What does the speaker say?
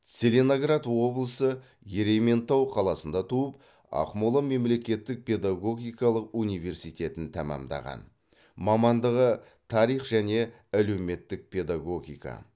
целиноград облысы ерейментау қаласында туып ақмола мемлекеттік педагогикалық университетін тәмамдаған мамандығы тарих және әлеуметтік педагогика